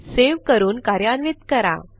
save करून कार्यान्वित करा